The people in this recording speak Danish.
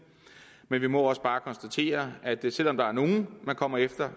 men vi må også bare konstatere at selv om der er nogle man kommer efter